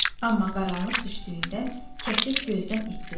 Amma qaranlıq düşdüyündən kəklik gözdən itdi.